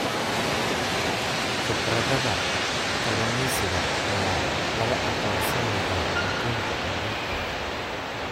Khibrada kalluumeysiga ayaa laga aqoonsan yahay adduunka oo dhan.